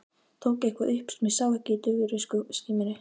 Tók eitthvað upp sem ég sá ekki í daufri skímunni.